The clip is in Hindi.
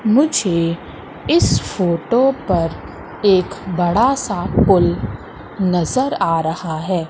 मुझे इस फोटो पर एक बड़ा सा पूल नज़र आ रहा है।